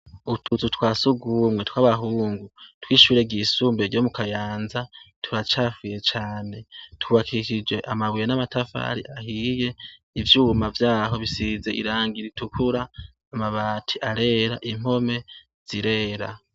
Utuzu twa sugumwe twabahungu twishure ryisumbuye ryo mukayanza turacafuye cane. Twubakishije amabuye n'amatafari ahiye, ivyuma vyaho bisize irangi ritukura, amabati arera, impome zirera.